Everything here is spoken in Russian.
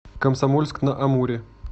комсомольск на амуре